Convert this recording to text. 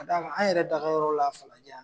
A d'a kan an yɛrɛ daga yɔrɔ la falajɛ yan nɔ